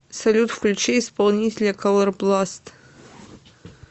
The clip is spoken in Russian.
салют включи исполнителя колорбласт